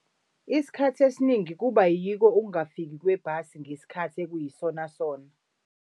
Isikhathi esiningi kuba yiko ukungafiki kwebhasi ngesikhathi ekuyisona sona.